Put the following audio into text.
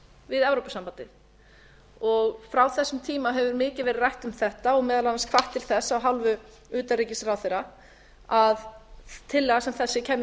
við evrópusambandið frá þessum tíma hefur mikið verið rætt um þetta og meðal annars hvatt til þess af hálfu utanríkisráðherra að tillaga sem þessi kæmi